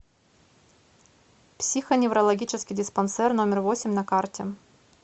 психоневрологический диспансер номер восемь на карте